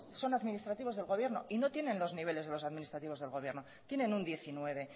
esos son administrativos del gobierno y no tiene los niveles de los administrativos del gobierno tienen un diecinueve